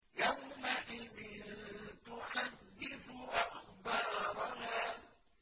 يَوْمَئِذٍ تُحَدِّثُ أَخْبَارَهَا